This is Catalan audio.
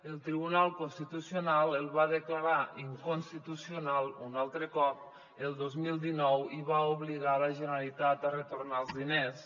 el tribunal constitucional el va declarar inconstitucional un altre cop el dos mil dinou i va obligar la generalitat a retornar els diners